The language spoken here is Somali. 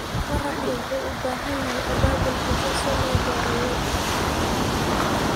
Waraabka wuxuu u baahan yahay abaabul bulsho si loo gaaro yoolka.